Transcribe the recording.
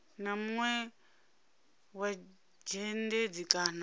na munwe wa dzhendedzi kana